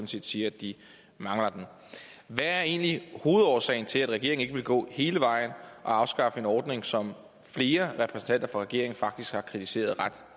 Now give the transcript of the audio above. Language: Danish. set siger de mangler den hvad er egentlig hovedårsagen til at regeringen ikke vil gå hele vejen og afskaffe en ordning som flere repræsentanter for regeringen faktisk har kritiseret ret